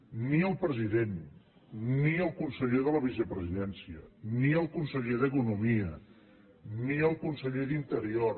ni el president ni el conseller de la vicepresidència ni el conseller d’economia ni el conseller d’interior